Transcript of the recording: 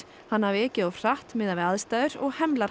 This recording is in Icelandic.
hann hafi ekið of hratt miðað við aðstæður og hemlar